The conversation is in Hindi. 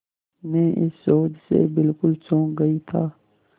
मैं इस शोध से बिल्कुल चौंक गई था